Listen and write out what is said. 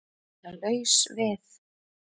Að vera laus við